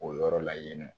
O yɔrɔ la yen nɔ